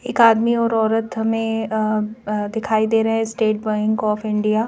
एक आदमी ओर औरत हमें अ अअ दिखाई दे रहे हैं स्टेट बैंक ऑफ इंडिया ।